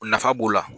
O nafa b'o la